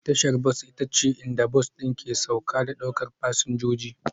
Tashar bas ita ce inda bas ɗin ke sauka da ɗaukar fasinjoji